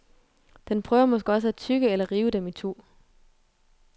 Den prøver måske også at tygge eller rive dem itu.